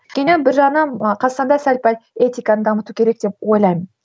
өйткені бір жағынан қазақстанда сәл пәл этиканы дамыту керек деп ойлаймын